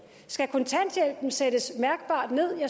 skal kontanthjælpen sættes mærkbart ned i